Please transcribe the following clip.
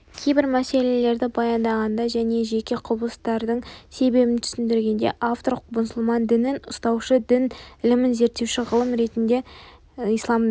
кейбір мәселелерді баяндағанда және жеке құбылыстардың себебін түсіндіргенде автор мұсылман дінін ұстаушы дін ілімін зерттеуші ғалым ретінде исламды